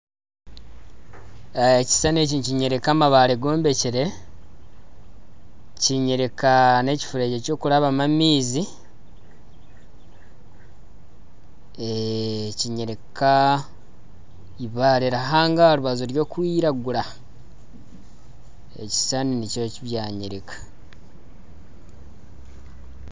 Ekishushane eki nikinyoreka amabare gombekire kinyoreka n'ekifuregye ky'okurambwamu amaizi kinyoreka eibare aha rubaju ry'okwiragura ekishushani nikyo eki byanyoreka